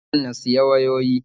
Ina son na siya wayoyi